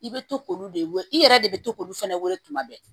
I bɛ to k'olu de wele i yɛrɛ de bɛ to k'olu fɛnɛ weele tuma bɛɛ